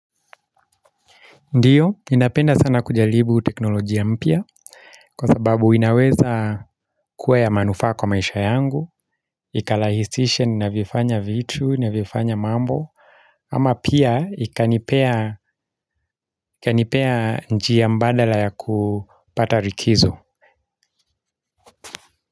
Ndio, ninapenda sana kujaribu teknolojia mpya. Kwa sababu inaweza kuwa ya manufaa kwa maisha yangu ikarahisisha ninavyofanya vitu, ninavyofanya mambo. Ama pia ikanipea njia mbadala ya kupata likizo.